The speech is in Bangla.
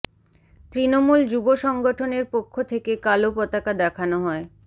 তৃণমূল যুব সংগঠনের পক্ষ থেকে কালো পতাকা দেখান হয়